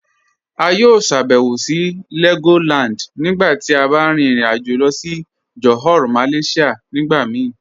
A yọ ṣàbẹ̀wò sí Legoland nígbà tí a bá rìn ìrìn-àjọ̀ lọ sí Johor Malaysia nígbà mí